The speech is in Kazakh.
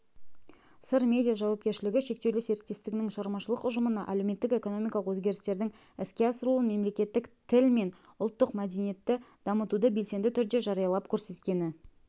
сыр медиа жауапкершілігі шектеулі серіктестігінің шығармашылық ұжымына әлеуметтік-экономикалық өзгерістердің іске асырылуын мемлекеттік тіл мен ұлттық мәдениетті дамытуды белсенді түрде жариялап-көрсеткені